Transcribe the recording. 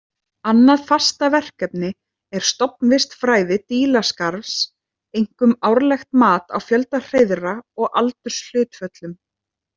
Annað fastaverkefni er stofnvistfræði dílaskarfs, einkum árlegt mat á fjölda hreiðra og aldurshlutföllum.